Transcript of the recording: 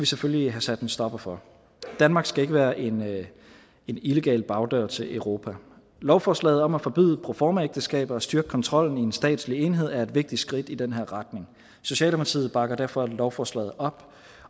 selvfølgelig have sat en stopper for danmark skal ikke være en illegal bagdør til europa lovforslaget om at forbyde proformaægteskaber og styrke kontrollen i en statslig enhed er et vigtigt skridt i den her retning socialdemokratiet bakker derfor lovforslaget op